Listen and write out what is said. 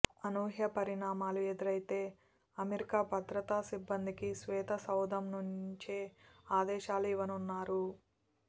అనూహ్య పరిణామాలు ఎదురైతే అమెరికా భద్రతా సిబ్బందికి శ్వేతసౌధం నుంచే ఆదేశాలు ఇవ్వనున్నారు